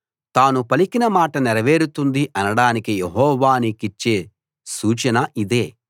తాను పలికిన మాట నెరవేరుతుంది అనడానికి యెహోవా నీకిచ్చే సూచన ఇదే